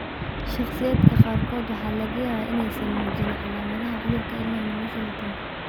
Shakhsiyaadka qaarkood waxaa laga yaabaa inaysan muujin calaamadaha cudurka ilaa noloshooda dambe.